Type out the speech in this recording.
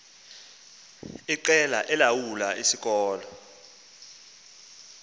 iqela elilawula isikolo